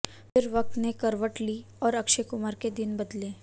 फिर वक़्त ने करवट ली और अक्षय कुमार के दिन बदले